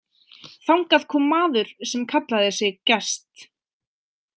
Þangað kom maður sem kallaði sig Gest.